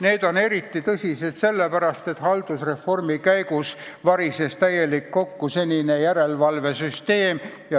Need on eriti tõsised sellepärast, et haldusreformi käigus varises senine järelevalvesüsteem täielikult kokku.